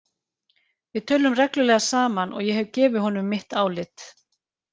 Við tölum reglulega saman og ég hef gefið honum mitt álit.